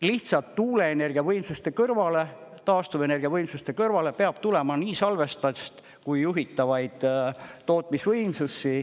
Lihtsalt tuuleenergiavõimsuste kõrvale, taastuvenergiavõimsuste kõrvale peab tulema nii salvesta… kui juhitavaid tootmisvõimsusi.